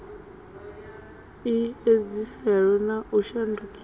i edziselwe na u shandukiswa